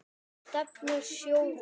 Stefnur sjóða